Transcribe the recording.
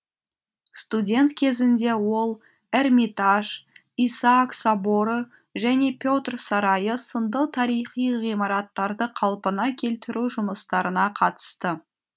студент кезінде ол эрмитаж исаак соборы және петр сарайы сынды тарихи ғимараттарды қалпына келтіру жұмыстарына қатысты